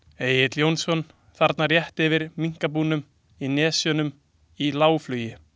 Egill Jónsson, þarna rétt yfir minkabúunum í Nesjunum, í lágflugi.